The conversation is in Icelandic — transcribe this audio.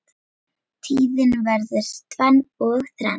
Tíðin verður tvenn og þrenn